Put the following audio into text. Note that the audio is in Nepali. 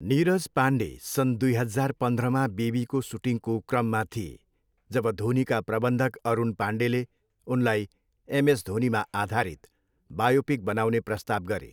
नीरज पाण्डे सन दुई हजार पन्ध्रमा बेबीको सुटिङको क्रममा थिए जब धोनीका प्रबन्धक अरुण पाण्डेले उनलाई एमएस धोनीमा आधारित बायोपिक बनाउने प्रस्ताव गरे।